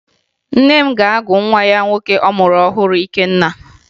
Nne m ga-agụ nwa nwoke ọ mụrụ ọhụrụ Ikenna